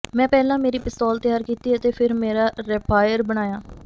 ਮੈਂ ਪਹਿਲਾਂ ਮੇਰੀ ਪਿਸਤੌਲ ਤਿਆਰ ਕੀਤੀ ਅਤੇ ਫਿਰ ਮੇਰਾ ਰੈਪਾਇਰ ਬਣਾਇਆ